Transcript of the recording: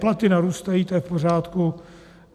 Platy narůstají, to je v pořádku.